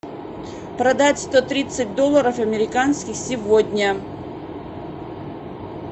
продать сто тридцать долларов американских сегодня